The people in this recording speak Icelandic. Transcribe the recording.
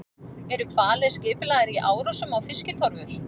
Eru hvalir skipulagðir í árásum á fiskitorfur?